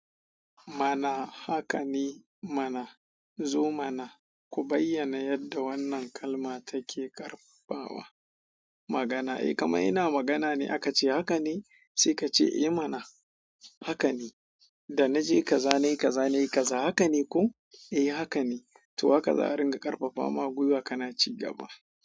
Mana, haka ne mana. Zo mana ku bayyana yadda wannan kalma take ƙarfafawa magana. Eh kama ina magana ne aka ce haka ne sai ka ce eh mana haka ne. Da na je ka za, nayi ka za, nayi ka za, haka ne ko? Eh haka ne. To haka za a ringa ƙarfafawa gwiwa kana ci gaba.